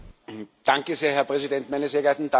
Herr Präsident, meine sehr geehrten Damen und Herren!